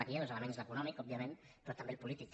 aquí hi ha dos elements l’econòmic òbviament però també el polític